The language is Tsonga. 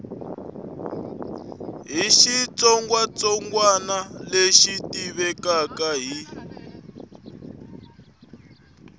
hi xitsongwatsongwana lexi tivekaka hi